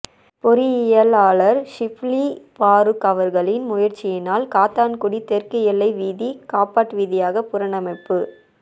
பொறியியலாளர் ஷிப்லி பாறுக் அவர்களின் முயற்சியினால் காத்தான்குடி தெற்கு எல்லை வீதி காபட் வீதியாக புணரமைப்பு